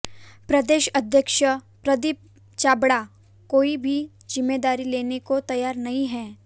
प्रदेश अध्यक्ष प्रदीप छाबड़ा कोई भी जिम्मेदारी लेने को तैयार नहीं हैं